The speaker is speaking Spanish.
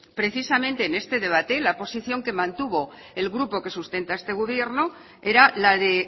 precisamente en este debate la posición que mantuvo el grupo que sustenta este gobierno era la de